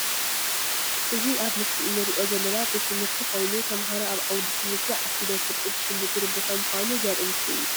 እዚ ኣብ ምስሊ እንሪኦ ዘለና ቤት ትምህርቲ ኮይኑ ተምሃሮ ኣብ ዓውዲ ትምህርቲ ዓሲሎም ፍልጠት ዝሽምትሉ ቦታ ምዃኑ ዘርኢ ምስሊ እዩ።